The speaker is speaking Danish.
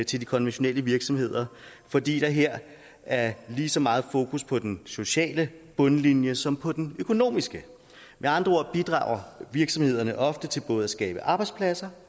til de konventionelle virksomheder fordi der her er lige så meget fokus på den sociale bundlinje som på den økonomiske med andre ord bidrager virksomhederne ofte til både at skabe arbejdspladser